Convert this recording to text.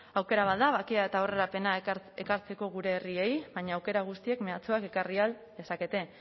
aukera bat da bakea eta aurrerapena ekartzeko gure herriei baina aukera guztiek mehatxuak ekarri ahal dezakete